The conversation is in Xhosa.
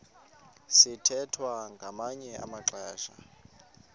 sithwethwa ngamanye amaxesha